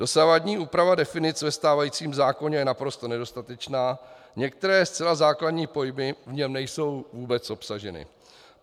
Dosavadní úprava definic ve stávajícím zákoně je naprosto nedostatečná, některé zcela základní pojmy v něm nejsou vůbec obsaženy.